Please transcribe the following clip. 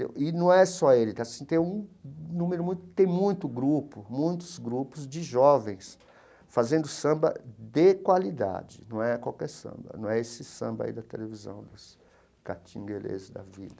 E num é só ele que assim, tem um número muito tem muito grupo muitos grupos de jovens fazendo samba de qualidade, não é qualquer samba, não é esse samba aí da televisão dos Katinguelês da vida.